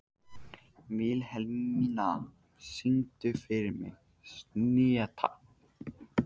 Vilhelmína, syngdu fyrir mig „Syneta“.